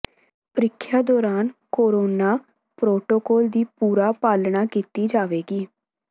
ਪ੍ਰੀਖਆ ਦੌਰਾਨ corona protocol ਦੀ ਪੂਰਾ ਪਾਲਣਾ ਕੀਤੀ ਜਾਵੇਗੀ